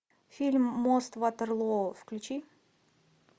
фильм мост ватерлоо включи